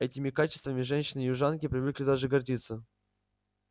этими качествами женщины-южанки привыкли даже гордиться